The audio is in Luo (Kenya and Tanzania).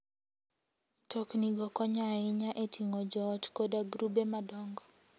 Mtoknigo konyo ahinya e ting'o joot koda grube madongo.